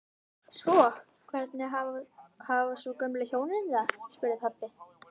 Hvernig hafa svo gömlu hjónin það? spurði pabbi.